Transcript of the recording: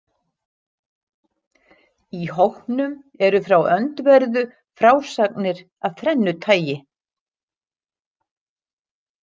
Í hópnum eru frá öndverðu frásagnir af þrennu tagi.